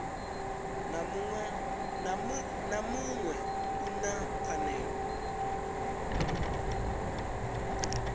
na muṅwe u na pfanelo